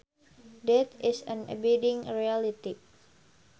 Death is an abiding reality